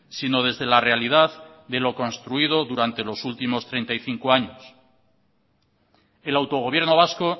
sino desde la realidad de lo construido durante los últimos treinta y cinco años el autogobierno vasco